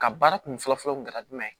Ka baara kun fɔlɔfɔlɔ kun kɛra jumɛn